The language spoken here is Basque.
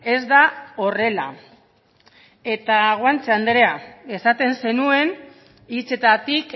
ez da horrela eta guanche andrea esaten zenuen hitzetatik